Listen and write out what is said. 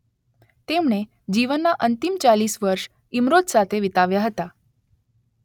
તેમણે જીવનના અંતિમ ચાલીસ વર્ષ ઈમરોઝ સાથે વિતાવ્યા હતા